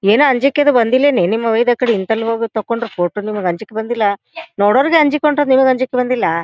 ಏನೂ ಅಂಜಿಕಿ ಅದು ಬಂದಿಲೆನ ನಿಮ ವೈದ ಅಕಡಿ ಇಂತಲ್ಲ ಹೋಗಿ ತಕ್ಕೊಂಡ್ರು ಫೋಟೋ ನಿಮಗೆ ಅಂಜಿಕ ಬಂದಿಲ್ಲ ನೋಡೋರ್ಗೆ ಅಂಜಿಕ ಕೊಂಡ್ರೆ ನಿಮಗೆ ಅಂಜಿಕ ಬಂದಿಲ್ಲ--